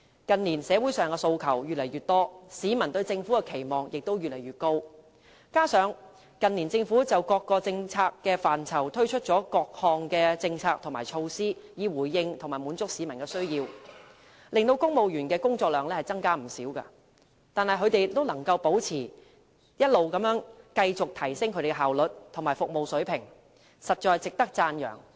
"近年，社會上的訴求越來越多，市民對政府的期望也越來越高，加上近年政府就各個政策範疇推出多項政策和措施，以回應和滿足市民的需要，令公務員的工作量增加不少，但他們仍可保持甚至是一直提升他們的效率和服務水平，實在值得讚揚。